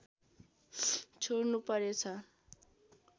छोड्नु परेछ